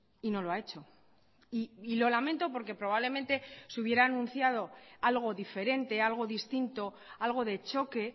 y no lo ha hecho y lo lamento porque probablemente se hubiera anunciado algo diferente algo distinto algo de choque